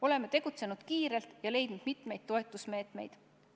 Oleme tegutsenud kiirelt ja leidnud mitmeid toetusmeetmeid.